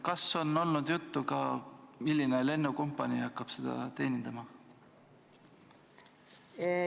Kas on ka olnud juttu, milline lennukompanii hakkab seda liini teenindama?